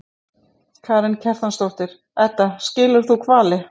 Karen Kjartansdóttir: Edda, skilur þú hvali?